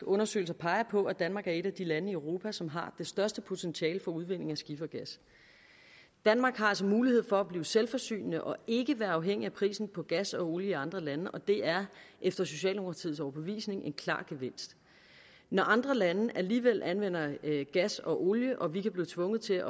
undersøgelser peger på at danmark er et af de lande i europa som har det største potentiale for udvinding af skifergas danmark har altså mulighed for at blive selvforsynende og ikke være afhængig af prisen på gas og olie i andre lande og det er efter socialdemokratiets overbevisning en klar gevinst når andre lande alligevel anvender gas og olie og når vi kan blive tvunget til